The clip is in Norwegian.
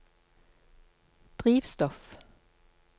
drivstoff